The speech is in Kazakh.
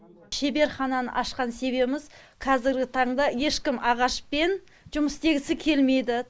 шеберхананы ашқан себебіміз қазіргі таңда ешкім ағашпен жұмыс істегісі келмейді